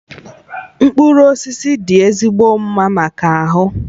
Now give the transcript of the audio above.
Mkpụrụ osisi dị ezigbo mma maka ahụ